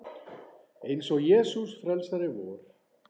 Eins og Jesús frelsari vor.